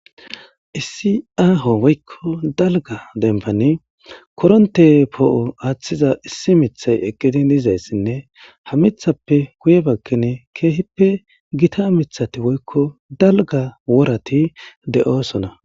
issi aaho woykko dalga denbani koronte poo7o aaththiza issi mithay eqqidi diizayssinne ha mithappe kuye bakkene keehippe gita mithati woykko dalga worati de7oosona